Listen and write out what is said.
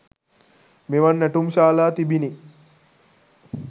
මෙවන් නැටුම් ශාලා තිබිණි.